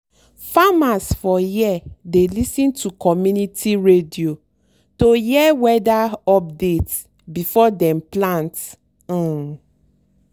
farmers for here dey lis ten to community radio to hear weather update before dem plant. um